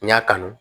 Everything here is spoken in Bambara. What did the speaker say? N y'a kanu